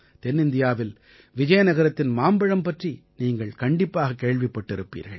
தென்னிந்தியாவில் விஜயநகரத்தின் மாம்பழம் பற்றி நீங்கள் கண்டிப்பாகக் கேள்விப்பட்டிருப்பீர்கள்